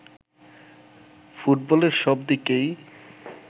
ফুটবলের সব দিকেই